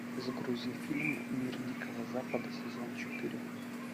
загрузи фильм мир дикого запада сезон четыре